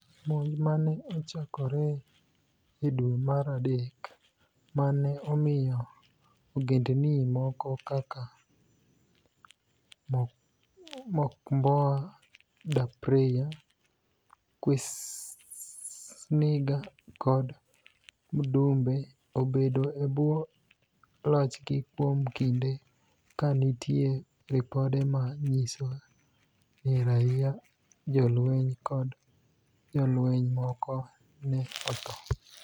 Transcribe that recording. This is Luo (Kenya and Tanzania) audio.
Monij ma ni e ochakore e dwe mar adek ma ni e omiyo ogenidinii moko kaka Mocimboa da Praia, QuisSaaniga kod Muidumbe obedo e bwo lochgi kuom kinide, ka niitie ripode ma niyiso nii raia, jolweniy, kod jolweniy moko ni e otho.